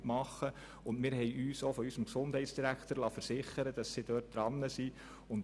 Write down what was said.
Wir liessen uns zudem von unserem Gesundheitsdirektor versichern, dass man dort dran sei.